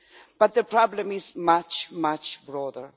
But the problem is much, much broader.